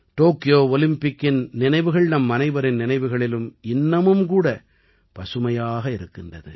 Tokyo ஒலிம்பிக்கின் நினைவுகள் நம்மனைவரின் நினைவுகளிலும் இன்னமும் கூட பசுமையாக இருக்கின்றது